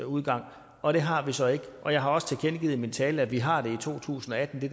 udgang og det har vi så ikke og jeg har også tilkendegivet i min tale at vi har det i to tusind og atten det